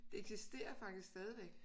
Det eksisterer faktisk stadigvæk